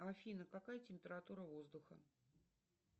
афина какая температура воздуха